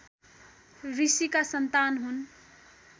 ऋषिका सन्तान हुन्